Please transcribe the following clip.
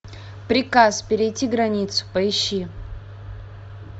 приказ перейти границу поищи